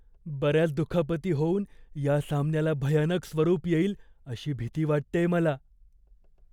बऱ्याच दुखापती होऊन ह्या सामन्याला भयानक स्वरूप येईल अशी भीती वाटतेय मला.